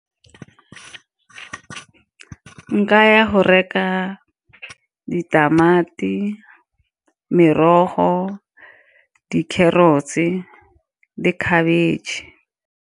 Nka ya go reka ditamati, merogo, di-carrots-e le cabbage.